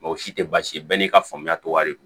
Mɛ o si tɛ baasi ye bɛɛ n'i ka faamuya tɛ wari kan